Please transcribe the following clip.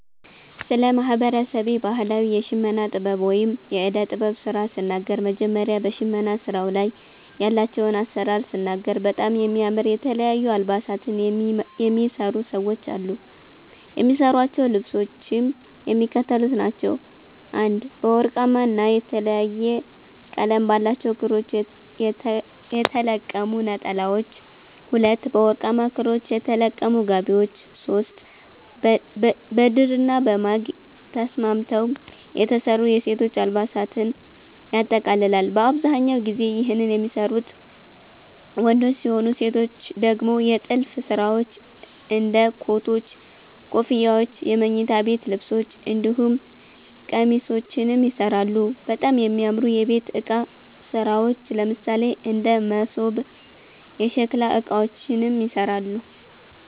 ስለ ማህበረሰቤ ባህላዊ የሽመና ጥበብ ወይም የእደ ጥበብ ስራ ስናገር መጀመሪያ በሸመና ስራዉ ላይ ያላቸዉን አሰራር ስናገር በጣም የሚያምር የተለያዩ አልባሳትን የሚሰሩ ሰዎች አሉ። የሚሰሯቸዉ ልብሶችም የሚከተሉት ናቸዉ፦ 1) በወርቃማ ና የተለያየ ቀለም ባላቸዉ ክሮች የተለቀሙ ነጠላዎች፤ 2)በወርቃማ ክሮች የተለቀሙ ጋቢዎች፤ 3)በድርና በማግ ተስማምተዉ የተሰሩ የሴቶች አልባሳትን ያጠቃልላል። በአብዛኛው ጊዜ ይህን የሚሰሩት ወንዶች ሲሆኑ ሴቶች ደግሞ የጥልፍ ስራዎች እንደ ኮቶች, ኮፍያዎች የመኝታ ቤት ልብሶች እንዲሁም ቄሚሶችንም ይሰራሉ፣ በጣም የሚያምሩ የቤት እቃ ስራዎች ለምሳሌ እንደ መሶብ፣ የሸከላ እቃዎችንም ይሰራሉ።